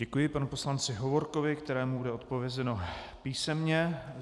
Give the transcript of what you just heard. Děkuji panu poslanci Hovorkovi, kterému bude odpovězeno písemně.